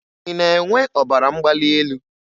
Ị na-enwe ọbara mgbali elu